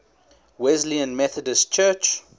wesleyan methodist church